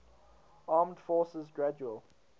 armed forces gradual